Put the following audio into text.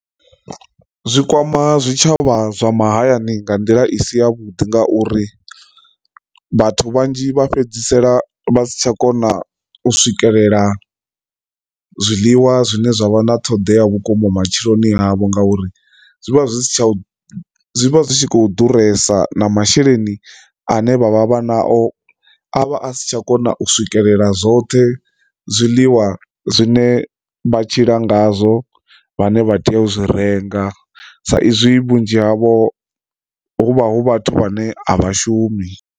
Zwi kwama zwitshavha zwa mahayani nga nḓila i si ya vhuḓi ngauri vhathu vhanzhi vha fhedzisela vha si tsha kona u swikelela zwiḽiwa zwine zwa vha na ṱhoḓea vhukuma matshiloni havho ngauri zwi vha zwi si tsha zwi vha zwi tshi kho ḓuresa na masheleni ane vha vha vha nao avha a si tsha kona u swikelela zwoṱhe zwiḽiwa zwine vha tshila ngazwo vhane vha tea u zwi renga, sa izwi vhunzhi havho huvha hu vhathu vhane a vha shumi.